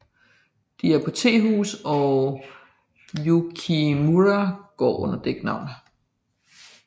De er på et tehus og Yukimura går under et dæknavn